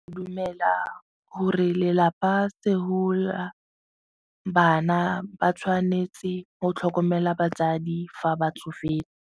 Dumela gore lelapa bana ba tshwanetse go tlhokomela batsadi fa ba tsofetse.